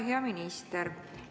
Hea minister!